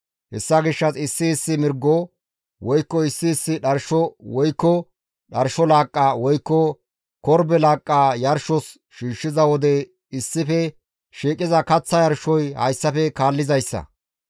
Hessa gishshas issi issi mirgo, woykko issi issi dharsho woykko dharsho laaqqa woykko korbe laaqqa yarshos shiishshiza wode issife shiiqiza kaththa yarshoy hessa.